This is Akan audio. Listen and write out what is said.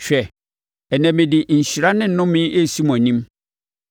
Hwɛ, ɛnnɛ mede nhyira ne nnome resi mo anim,